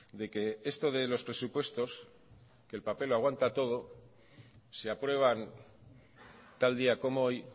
de que esto de los presupuestos el papel lo aguanta todo se aprueban tal día como hoy